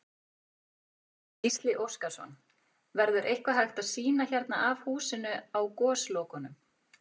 Gísli Óskarsson: Verður eitthvað hægt að sýna hérna af húsinu á Goslokunum?